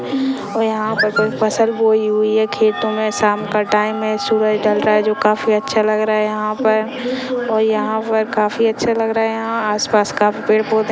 और यहाँ पर कोई फसलं बोई हुई है खेतों में शाम का टाइम हैं सूरज ढल रहा हैं जो काफी अच्छा लग रहा हैं यहाँ पर और यहाँ पर काफी अच्छा लग रहा हैं यहाँ आस-पास काफी पेड़पौधे --